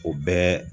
O bɛɛ